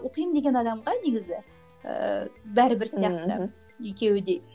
оқимын деген адамға негізі ііі бәрібір сияқты екеуі де